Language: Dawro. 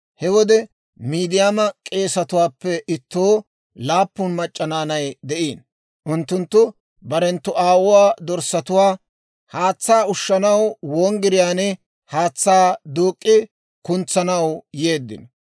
He wode Miidiyaama k'eesatuwaappe ittoo laappun mac'c'a naanay de'iino; unttunttu barenttu aawuwaa dorssatuwaa haatsaa ushshanaw wonggiriyaan haatsaa duuk'k'i kuntsanaw yeeddino.